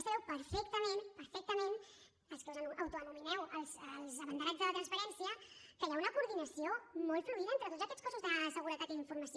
sabeu perfectament perfectament els que us autoanomeneu els abanderats de la transparència que hi ha una coordinació molt fluida entre tots aquests cossos de seguretat i d’informació